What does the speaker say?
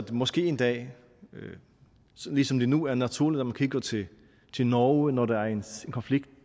måske en dag ligesom det nu er naturligt at man kigger til til norge når der er en konflikt